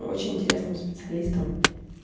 очень интересным специалистом